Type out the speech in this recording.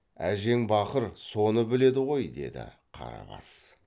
әжең бақыр соны біледі ғой деді қарабас